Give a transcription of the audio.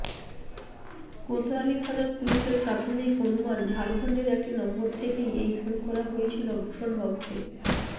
কোতয়ালি থানার পুলিশের প্রাথমিক অনুমান ঝাড়খন্ডের একটি নম্বর থেকে এই ফোন করা হয়েছিল ভূষন বাবুকে